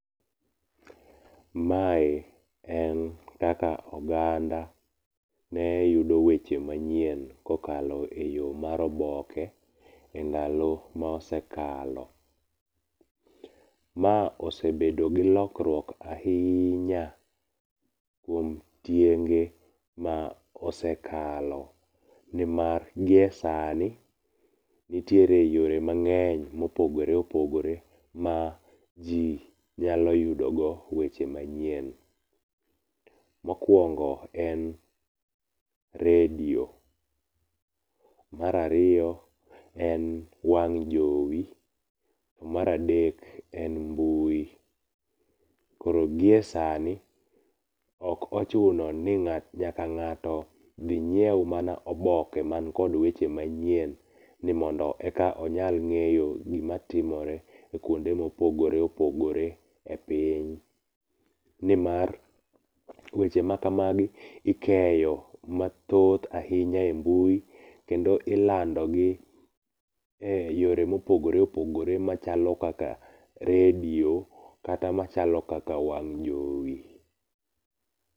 Mae en kaka oganda ne yudo weche manyien kokalo eyo mar oboke endalo mosekalo. Ma osebedo gi lokruok ahiinya kuom tienge ma osekalo nimar giesani nitiere yore mang'eny mopogore opogore ma ji nyalo yudogo weche manyien. Mokuongo en redi, mar ariyo en wang' jowi to mar adek en mbui. Giesani ok ochuno ni nyaka ng'ato dhi nyiew mana oboke man kod weche manyien ni mondo eka onyal ng'eyo gimatimore e kuonde ma opogore opgore epiny nimar weche ma kamagi ikeyo mathoth ahinya e mbui kendo ilandogi e yore mopogore opogore machalo kaka redio, kata machalo kaka wang' jowi.